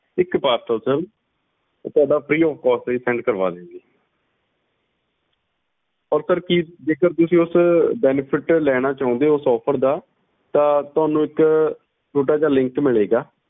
ਇਕ parcelsir ਤੁਹਾਡਾ freeofcost ਅਸੀਂ ਕਰਵਾ ਦਿਆਂਗੇ offer ਕਿ ਜੇਕਰ offer ਤੁਸੀਂ ਉਹ benefit ਲੈਣਾ ਚਾਹੁੰਦੇ ਊ offer ਉਸ ਦਾ ਤਾਂ ਤੁਹਾਨੂੰ ਇੱਕ ਮਿਲੇਗਾ